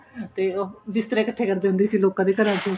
ਤੇ ਉਹ ਬਿਸਤਰੇ ਇੱਕਠੇ ਕਰਦੇ ਹੁੰਦੇ ਸੀ ਲੋਕਾ ਦੇ ਘਰ ਚ